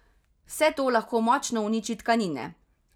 Vse to lahko močno uniči tkanine.